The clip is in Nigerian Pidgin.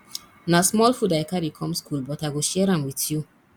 na small food i carry come skool but i go share am wit you